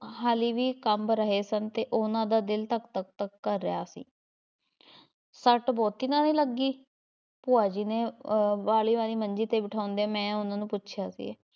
ਹਾਲੀ ਵੀ ਕੰਬ ਰਹੇ ਸਨ ਤੇ ਉਹਨਾਂ ਦਾ ਦਿਲ ਧੱਕ ਧੱਕ ਧੱਕ ਕਰ ਰਿਹਾ ਸੀ ਸੱਟ ਬਹੁਤੀ ਤਾਂ ਨਹੀਂ ਲੱਗੀ? ਭੂਆ ਜੀ ਨੇ ਅਹ ਵਾਲ਼ੀ ਵਾਲੀ ਮੰਜੀ ‘ਤੇ ਬਿਠਾਉਂਦਿਆਂ, ਮੈਂ ਉਹਨਾਂ ਨੂੰ ਪੁੱਛਿਆ ਸੀ।